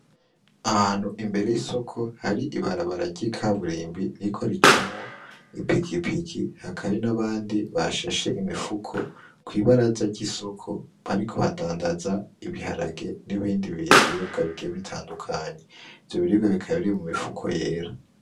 Ahantu imbere y'isoko hari ibarabara ry'ikaburimbi ririko ricamwo ipikipiki , hakaba hari n'abandi bashashe imifuko kw'ibaraza ry'isoko bariko badandaza ibiharage n'ibindi biribwa bigiye bitandukanye , ivyo biribwa bikaba biri mu mifuko yera.